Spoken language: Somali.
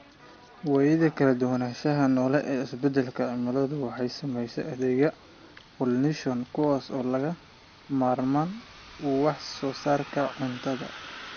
Waayida kala duwanaanshaha noole ee isbedelka cimiladu waxay saamaysaa adeegyada pollination, kuwaas oo lagama maarmaan u ah wax soo saarka cuntada.